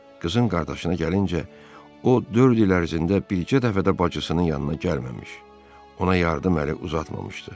Qızın qardaşına gəlincə, o, dörd il ərzində bircə dəfə də bacısının yanına gəlməmiş, ona yardım əli uzatmamışdı.